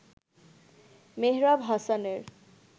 মেহরাব হাসানের